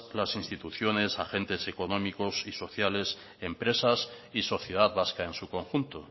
las instituciones agentes económicos y sociales empresas y sociedad vasca en su conjunto